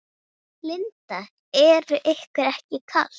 Linda: Er ykkur ekki kalt?